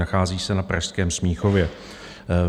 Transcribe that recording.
Nachází se na pražském Smíchově.